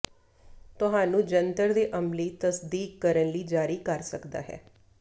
ਤੁਹਾਨੂੰ ਜੰਤਰ ਦੇ ਅਮਲੀ ਤਸਦੀਕ ਕਰਨ ਲਈ ਜਾਰੀ ਕਰ ਸਕਦਾ ਹੈ